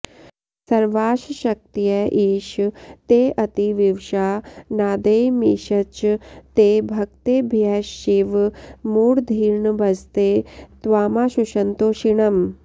सर्वाश्शक्तय ईश तेऽतिविवशा नादेयमीषच्च ते भक्तेभ्यश्शिव मूढधीर्नभजते त्वामाशुसन्तोषिणम्